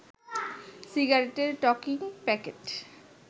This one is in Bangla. সিগারেটের টকিং প্যাকেট